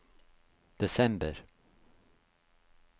desember